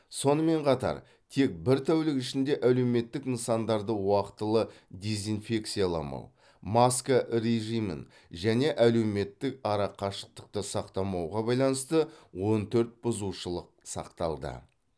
сонымен қатар тек бір тәулік ішінде әлеуметтік нысандарды уақытылы дезинфекцияламау маска режимін және әлеуметтік арақашықтықты сақтамауға байланысты он төрт бұзушылық сақталды